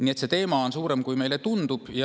Nii et see teema on suurem, kui meile tundub.